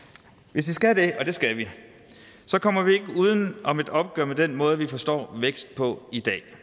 hvis vi skal det og det skal vi kommer vi ikke uden om et opgør med den måde vi forstår vækst på i dag